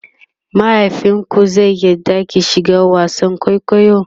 mahaifinku zai yarda ki shiga wasan kwaikwayo?